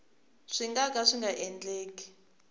nga ka swi nga endleki